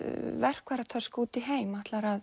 verkfæratösku út í heim ætlar að